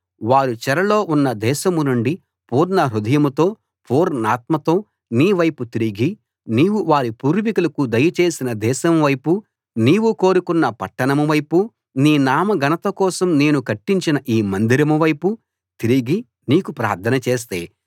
వారు చెరలో ఉన్న దేశం నుండి పూర్ణ హృదయంతో పూర్ణాత్మతో నీ వైపు తిరిగి నీవు వారి పూర్వీకులకు దయచేసిన దేశం వైపూ నీవు కోరుకున్న పట్టణం వైపూ నీ నామఘనత కోసం నేను కట్టించిన ఈ మందిరం వైపూ తిరిగి నీకు ప్రార్థన చేస్తే